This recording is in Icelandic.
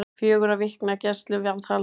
Fjögurra vikna gæsluvarðhald